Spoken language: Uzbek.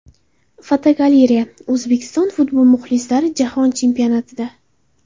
Fotogalereya: O‘zbekistonlik futbol muxlislari Jahon Chempionatida.